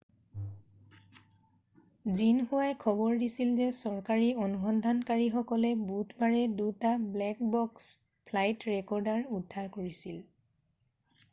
জিনহুৱাই খবৰ দিছিল যে চৰকাৰী অনুসন্ধানকাৰীসকলে বুধবাৰে দুটা ব্লেক বক্স” ফ্লাইট ৰেকৰ্ডাৰ উদ্ধাৰ কৰিছিল।